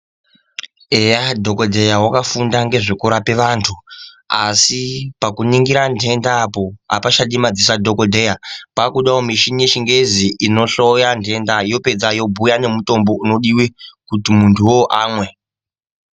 Eya dhokodheya wakafunda ngezvekurapa vantu asi pakuringira nhenda apachadi madziso adhokodheya, pakudawo mushini yechingezi inohloya nhenda yooedza yobhuya mutombo unodiwe kuti muntu amwe.